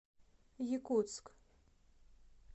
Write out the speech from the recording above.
якутск